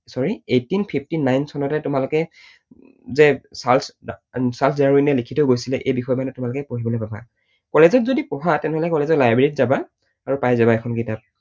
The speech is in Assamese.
Sorry, eighteen fifty-nine চনতে তোমালোকে যে চাৰ্লছ ডাৰউইনে লিখি থৈ গৈছিলে এই বিষয়ে মানে তোমালোকে পঢ়িবলৈ পাবা। college ত যদি পঢ়া তেনেহলে college ৰ library ত যাবা আৰু পাই যাবা এইখন কিতাপ।